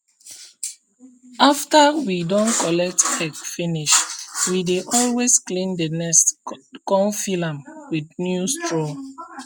after we don collect egg finishwe dey always clean the nest con fill am with new straw